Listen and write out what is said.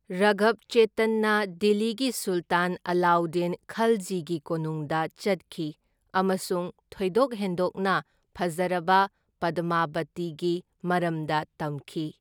ꯔꯥꯘꯕ ꯆꯦꯇꯟꯅ ꯗꯤꯜꯂꯤꯒꯤ ꯁꯨꯜꯇꯥꯟ ꯑꯂꯥꯎꯗꯤꯟ ꯈꯜꯖꯤꯒꯤ ꯀꯣꯅꯨꯡꯗ ꯆꯠꯈꯤ ꯑꯃꯁꯨꯡ ꯊꯣꯏꯗꯣꯛ ꯍꯦꯟꯗꯣꯛꯅ ꯐꯖꯔꯕ ꯄꯗꯃꯥꯕꯇꯤꯒꯤ ꯃꯔꯝꯗ ꯇꯝꯈꯤ꯫